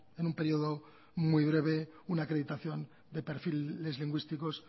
en un periodo muy breve una acreditación de perfiles lingüísticos